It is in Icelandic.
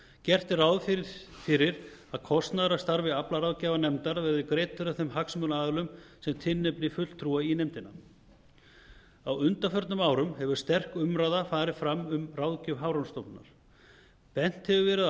gert er ráð fyrir að kostnaður af starfi aflaráðgjafarnefndar verði greiddur af þeim hagsmunaaðilum sem tilnefni fulltrúa í nefndina á undanförnum árum hefur sterk umræða farið fram um ráðgjöf hafrannsóknastofnunarinnar bent hefur verið